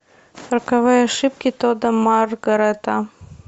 роковые ошибки тодда маргарета